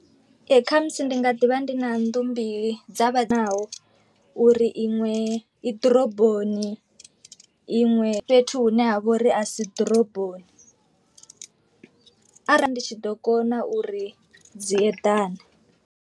Ee khamusi ndi nga ḓivha ndi na nnḓu mbili dza vha naho uri iṅwe i ḓoroboni, iṅwe fhethu hune ha vha uri a si ḓoroboni arali ndi tshi ḓo kona uri dzi eḓane.